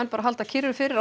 bara að halda kyrru fyrir á